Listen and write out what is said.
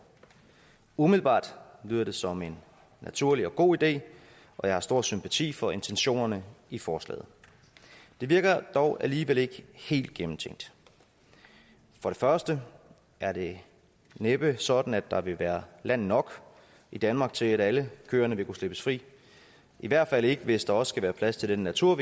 umiddelbart lyder det som en naturlig og god idé og jeg har stor sympati for intentionerne i forslaget det virker dog alligevel ikke helt gennemtænkt for det første er det næppe sådan at der vil være land nok i danmark til at alle køerne vil kunne slippes fri i hvert fald ikke hvis der også skal være plads til den natur